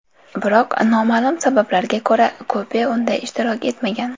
Biroq noma’lum sabablarga ko‘ra, kupe unda ishtirok etmagan.